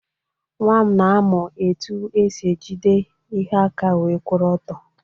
Nwa m na-amụ etu e si ejide ihe aka wee kwụrụ ọtọ